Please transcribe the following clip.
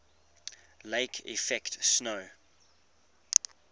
lake effect snow